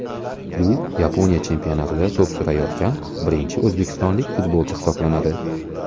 U Yaponiya chempionatida to‘p surayotgan birinchi o‘zbekistonlik futbolchi hisoblanadi.